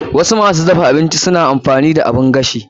Wasu masu dafa abinci suna amfani da oven.